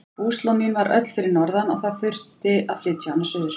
Búslóð mín var öll fyrir norðan og það þurfti að flytja hana suður.